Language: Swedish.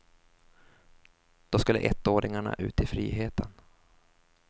Då skulle ettåringarna ut i friheten.